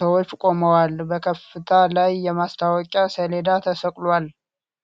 ሰዎች ቁመዋል። በከፍታ ላይ የማስታወቂያ ሰሌዳ ተሰቅሏል።